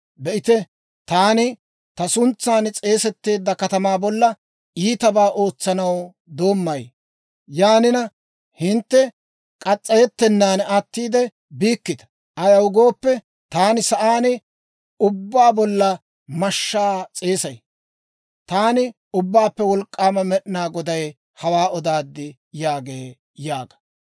Be'ite, taani ta suntsan s'eesetteedda katamaa bolla iitabaa ootsanaw doommay. Yaanina hintte murettennaan attiide biitee? Hintte murettennaan attiide biikkita! Ayaw gooppe, taani sa'aan ubbaa bolla mashshaa s'eesay. Taani Ubbaappe Wolk'k'aama Med'inaa Goday hawaa odaad» yaagee› yaaga.